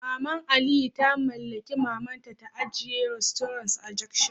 Maman Aliyu ta mallaki Maman ta ajiye restaurant a junction